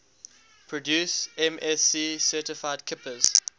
produce msc certified kippers